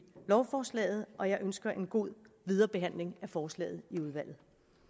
lovforslaget og jeg ønsker en god videre behandling af forslaget i udvalget